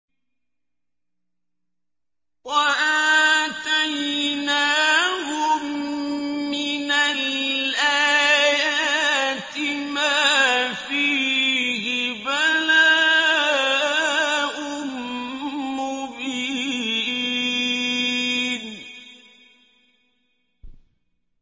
وَآتَيْنَاهُم مِّنَ الْآيَاتِ مَا فِيهِ بَلَاءٌ مُّبِينٌ